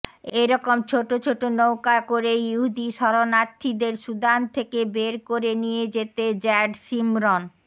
এরকম ছোট ছোট নৌকায় করেই ইহুদি শরণার্থীদের সুদান থেকে বের করে নিয়ে যেতে জ্যাড শিমরন